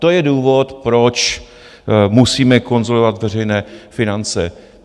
To je důvod, proč musíme konsolidovat veřejné finance.